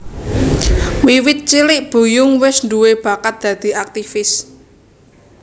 Wiwit cilik Buyung wis duwé bakat dadi aktivis